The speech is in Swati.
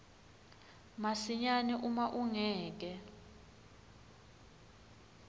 masinyane uma ungeke